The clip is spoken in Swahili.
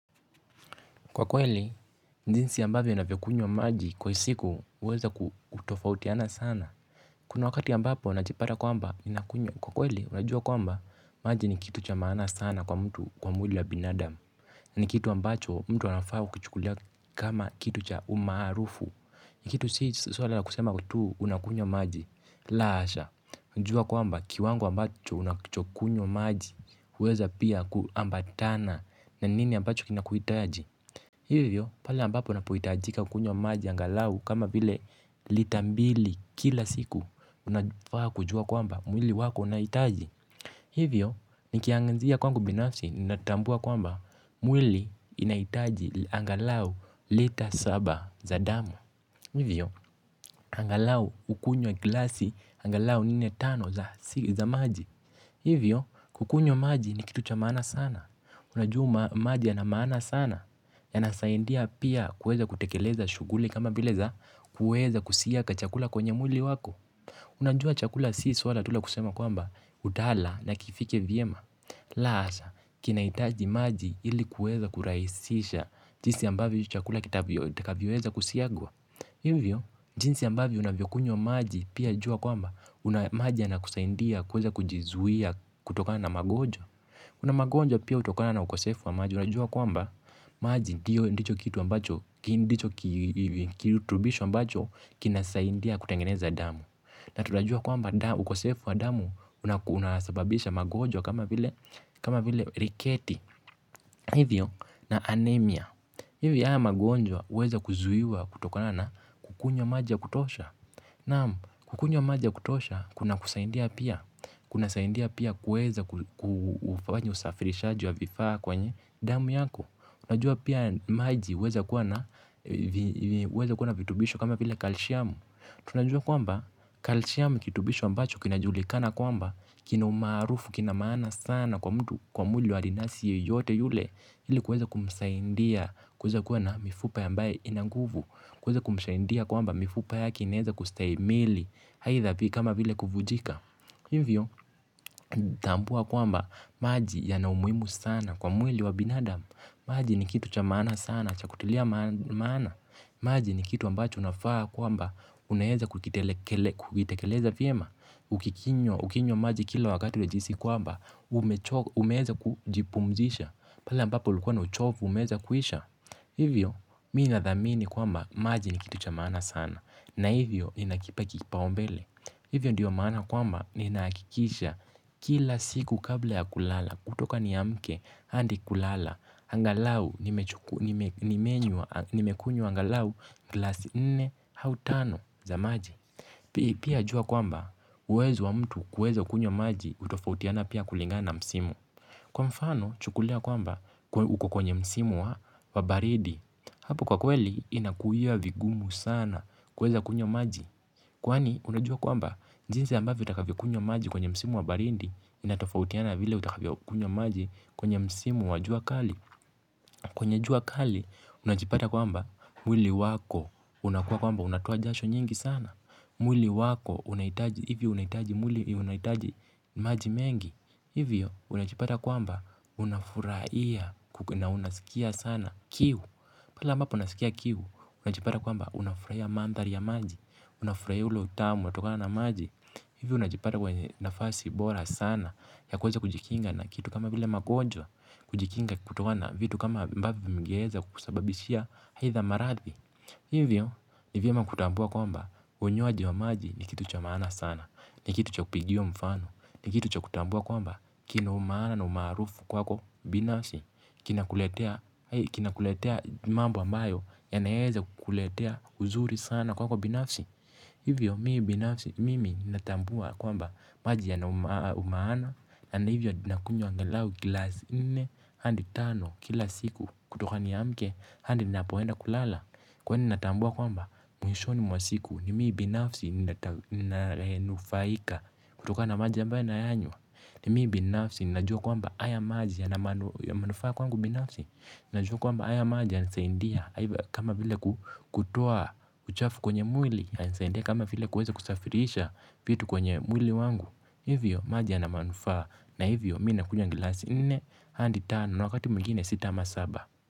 Kwa kweli, jinsi ambavyo navyokunywa maji kwa siku uweza kutofautiana sana. Kuna wakati ya ambapo najipata kwamba nakunywa. Kwa kweli, unajua kwamba maji ni kitu cha maana sana kwa mtu kwa mwili wa binadamu. Na ni kitu ambacho mtu anafaa kukichukulia kama kitu cha umaarufu. Ni kitu si sula la kusema tu unakunywa maji. La hasha, unajua kwamba kiwango ambacho unachokunywa maji. Uweza pia kuambatana na nini ambacho kinakuhitaji. Hivyo, pala ambapo unapohitajika kunywa maji angalau kama vile lita mbili kila siku unafaa kujua kwamba mwili wako unahitaji. Hivyo, nikianzia kwangu binafsi, ninatambua kwamba mwili inahitaji angalau lita saba za damu. Hivyo, angalau ukunywe klasi angalau nne tano za maji. Hivyo, kukunywa maji ni kitu cha maana sana, unajua maji ya na maana sana, yana saidia pia kuweza kutekeleza shuguli kama vile za kuweza kusiaka chakula kwenye mwili wako. Unajua chakula si swala tu lakusema kwamba utaala na kifike vyema. La hasha, kina hitaji maji ili kuweza kurahisisha jinsi ambavyo chakula kitakavyo weza kusiagwa. Hivyo, jinsi ambavyo unavyokunywa maji pia jua kwamba maji yanakusaidia kuweza kujizuia kutokana na magonjwa. Kuna magonjwa pia utokana na ukosefu wa maji unajua kwamba maji ndio ndicho kitu ambacho, ndicho kiritubisho ambacho kina saidia kutengeneza damu. Na tutajua kwamba ukosefu wa damu unasababisha magonjwa kama vile riketi, hivyo na anemia. Hivyo haya magonjwa uweza kuzuiwa kutokona na kukunywa maji ya kutosha. Naam, kukunywa maji ya kutosha, kuna kusaidia pia. Kuna saidia pia kuweza kufanya usafirishaji wa vifaa kwenye damu yako. Unajua pia maji uweza kuwa na vitubisho kama vile kalshiamu. Tunajua kwamba, kalshiamu ni kirutubisho ambacho kina julikana kwamba kina umaarufu kina maana sana kwa mtu. Kwa mwili wa adinasi yeyote yule ili kweza kumsaidia kuweza kuwa na mifupa ambayo ina nguvu kuweza kumsaidia kwamba mifupa yake inaweza kustahimili haidha kama vile kufunjika hivyo tambua kwamba maji yana umuhimu sana kwa mwili wa binadamu maji ni kitu cha maana sana cha kutilia maana maji ni kitu ambacho unafaa kwamba unaweza kukitekeleza vyema ukinywa maji kila wakati unajihisi kwamba umeweza kujipumzisha pale ambapo ulikuwa na uchofu umeweza kuisha hivyo mimi nadhamini kwamba maji ni kitu cha maana sana na hivyo ninakipa kipaumbele hivyo ndiyo maana kwamba ninahakikisha kila siku kabla ya kulala kutoka niamke hadi kulala angalau nimekunywa angalau glasi nne au tano za maji pia jua kwamba uwezo wa mtu kuweza kunywa maji utofautiana pia kulingana msimu. Kwa mfano chukulia kwamba uko kwenye msimu wa baridi. Hapo kwa kweli inakuwia vigumu sana kuweza kunywa maji. Kwani unajua kwamba jinsi ambavyo utakavyo kunywa maji kwenye msimu wa baridi. Inatofautiana vile utakafia kunywa maji. Kwenye msimu wa jua kali kwenye jua kali unajipata kwamba mwili wako unakuwa kwamba unatoa jasho nyingi sana. Mwili wako unahitaji maji mengi. Hivyo unajipata kwamba unafurahia na unasikia sana Kiu. Pala mbapo unasikia kiu unajipata kwamba mandhari ya maji unafurahia ule utamu unatokana na maji. Hivyo unajipata kwamba nafasi bora sana ya kuweza kujikinga na kitu kama vile magonjwa kujikinga kutokana vitu kama ambavyo vingeweza kukusababishia haidha marathi. Hivyo nivyema kutambua kwamba unywaji wa maji ni kitu cha maana sana. Ni kitu cha kupigiwa mfano. Ni kitu cha kutambua kwamba kina umaana na umaarufu kwako binafsi. Kina kuletea mambo ambayo yanaweza kukuletea uzuri sana kwako binafsi. Hivyo mimi binafsi mimi ninatambua ya kwamba maji ya na umaana. Hivyo nakunywa angalau glasi nne hadi tano kila siku kutoka niamke hadi napoenda kulala. Kwani natambua kwamba mwishoni mwa siku ni mimi binafsi nitanufaika kutoka na maji ambayo nayanywa. Ni mimi binafsi ninajua kwamba haya maji ya manufaa kwangu binafsi. Ninajua kwamba haya maja yanasaidia kama vile kutoa uchafu kwenye mwili. Yanasaidia kama vile kuweza kusafirisha vitu kwenye mwili wangu. Hivyo maji yana manufaa na hivyo mimi nakunywa glasi nne hadi tano na wakati mwingine sita ama saba.